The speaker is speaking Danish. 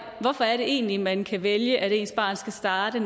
hvorfor er det egentlig at man kan vælge at ens barn skal starte i